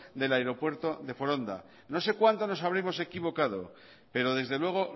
del aeropuerto de foronda no sé cuanto nos habremos equivocado pero desde luego